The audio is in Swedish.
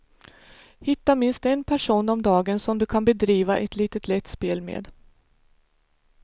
Hitta minst en person om dagen som du kan bedriva ett litet lätt spel med.